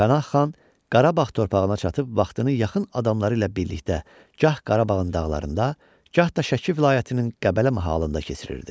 Pənah xan Qarabağ torpağına çatıb vaxtını yaxın adamları ilə birlikdə, gah Qarabağın dağlarında, gah da Şəki vilayətinin Qəbələ mahalında keçirirdi.